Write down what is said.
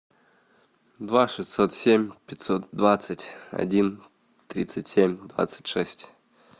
два шестьсот семь пятьсот двадцать один тридцать семь двадцать шесть